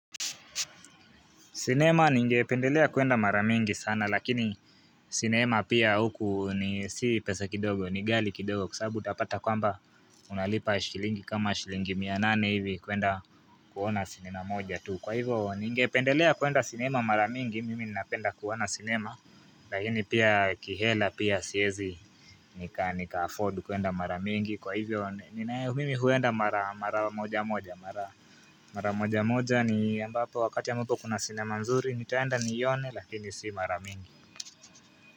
Sinema ningependelea kuenda mara mingi sana lakini sinema pia huku ni si pesa kidogo ni ghali kidogo kwa sabu utapata kwamba unalipa shilingi kama shilingi mia nane hivi kuenda kuona sinema moja tu kwa hivyo ningependelea kuenda sinema mara mingi mimi napenda kuona sinema Lakini pia kihela pia siezi nika afford kuenda mara mingi kwa hivyo mimi huenda mara moja moja wakati ambapo kuna sinema nzuri nitaenda nione lakini si mara mingi.